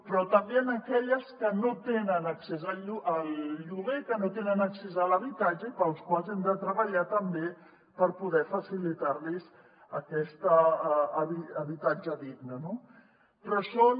però també aquelles que no tenen accés al lloguer que no tenen accés a l’habitatge i per a les quals hem de treballar també per poder facilitar los aquest habitatge digne no però són